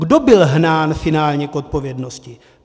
Kdo byl hnán finálně k odpovědnosti?